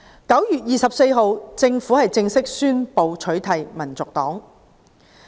9月24日，政府正式宣布取締香港民族黨。